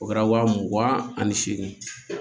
O kɛra wa mugan ani seegin